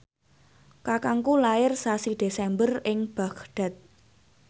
kakangku lair sasi Desember ing Baghdad